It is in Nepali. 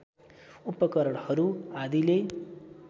उपकरणहरू आदिले